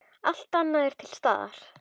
Allt annað er til staðar.